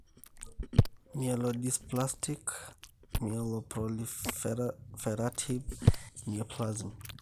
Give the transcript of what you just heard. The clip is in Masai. myelodysplastic/myeloproliferative neoplasm,